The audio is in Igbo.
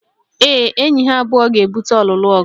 Ee, enyi ha abụọ ga-ebute ọlụlụ